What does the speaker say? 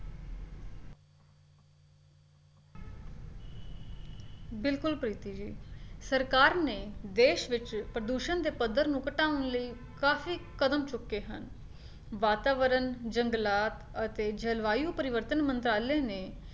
ਬਿਲਕੁਲ ਪ੍ਰੀਤਿ ਸੀ ਸਰਕਾਰ ਨੇ ਦੇਸ਼ ਵਿੱਚ ਪ੍ਰਦੂਸ਼ਣ ਦੇ ਪੱਧਰ ਨੂੰ ਘਟਾਉਣ ਲਈ ਕਾਫੀ ਕਦਮ ਚੁੱਕੇ ਹਨ, ਵਾਤਾਵਰਨ, ਜੰਗਲਾਤ ਅਤੇ ਜਲਵਾਯੂ ਪਰਿਵਰਤਨ ਮੰਤਰਾਲੇ ਨੇ